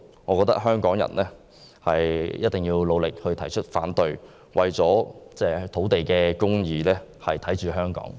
我認為香港人一定要努力提出反對，為了土地公義，守護香港。